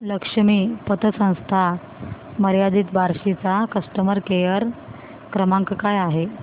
लक्ष्मी पतसंस्था मर्यादित बार्शी चा कस्टमर केअर क्रमांक काय आहे